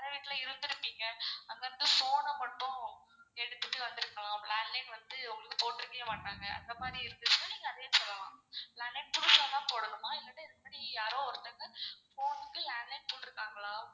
பழைய வீட்ல இருந்துருப்பீங்க. அங்க இருந்து phone அ மட்டும் எடுத்துட்டு வந்துருக்கலாம். landline வந்து போட்டுருக்கவே மாட்டாங்க அந்த மாறி இருந்துச்சானா நீங்க அதையும் சொல்லலாம். landline புதுசா தான் போடணுமா இல்லனா இதுமாறி யாரோ ஒருத்தங்க phone வந்து landline போட்டுருக்காங்களா?